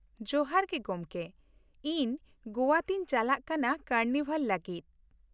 ᱡᱚᱦᱟᱨ ᱜᱮ ᱜᱚᱢᱠᱮ, ᱤᱧ ᱜᱚᱣᱟ ᱛᱮᱧ ᱪᱟᱞᱟᱜ ᱠᱟᱱᱟ ᱠᱟᱨᱱᱤᱵᱷᱟᱞ ᱞᱟᱹᱜᱤᱫ ᱾